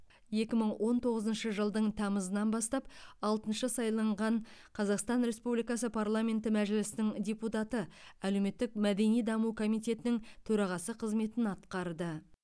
екі мың он тоғызыншы жылдың тамызынан бастап алтыншы сайланған қазақстан республикасы парламенті мәжілісінің депутаты әлеуметтік мәдени даму комитетінің төрағасы қызметін атқарды